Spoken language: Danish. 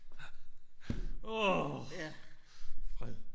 Åh! Fred!